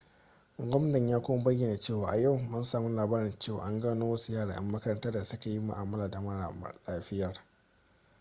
gwamnan ya kuma bayyana cewa a yau mun samu labarin cewa an gano wasu yara 'yan makaranta da suka yi mu'amala da mara lafiyar